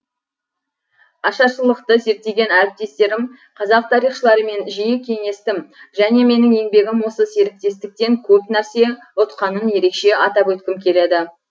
ашаршылықты зерттеген әріптестерім қазақ тарихшыларымен жиі кеңестім және менің еңбегім осы серіктестіктен көп нәрсе ұтқанын ерекше атап өткім келеді